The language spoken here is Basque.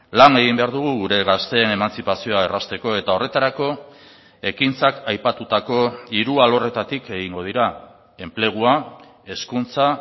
lan egin behar dugu gure gazteen emantzipazioa errazteko eta horretarako ekintzak aipatutako hiru alorretatik egingo dira enplegua hezkuntza